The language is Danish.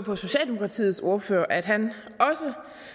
på socialdemokratiets ordfører at han også